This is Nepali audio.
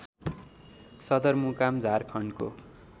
सदर मुकाम झारखण्डको